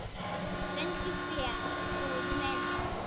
Fundið fé, góði minn.